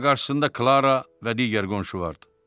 Amma qarşısında Klara və digər qonşu vardı.